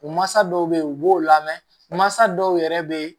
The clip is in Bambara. U mansa dɔw be yen u b'o lamɛn mansa dɔw yɛrɛ be